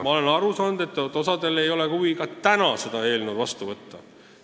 Ma olen aru saanud, et osal ei ole huvi, et see eelnõu vastu võetaks.